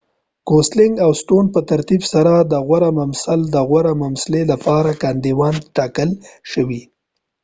ګوسلنګ او سټون پّه ترتیب سره د غوره ممثل او غوره ممثلې لپاره کاندیدان ټاکل شوي